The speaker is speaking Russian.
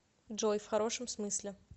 джой в хорошем смысле